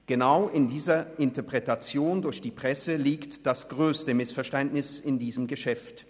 Genau in dieser Interpretation durch die Presse liegt das grösste Missverständnis in diesem Geschäft.